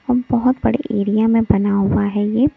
और बहुत बड़े एरिया में बना हुआ है ये।